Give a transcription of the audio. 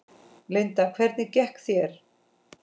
Linda: Hvernig gekk þér?